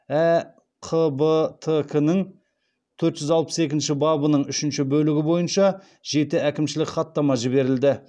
әқбтк нің төрт жүз алпыс екінші бабының үшінші бөлігі бойынша жеті әкімшілік хаттама жіберілді